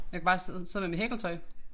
Jeg kunne bare sidde sidde med mit hækletøj